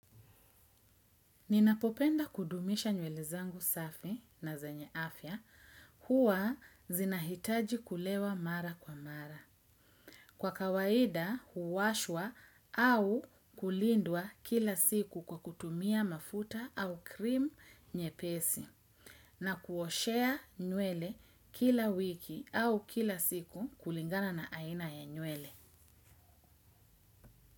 Ninapopenda kudumisha nywele zangu safi na zenye afya, huwa zinahitaji kulewa mara kwa mara. Kwa kawaida huwashwa au kulindwa kila siku kwa kutumia mafuta au cream nyepesi. Na kuoshea nywele kila wiki au kila siku kulingana na aina ya nywele.